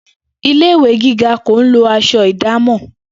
Ilé ìwé gíga kì í lo as̩o̩ ìdámò̩